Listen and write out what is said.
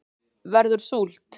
verður súld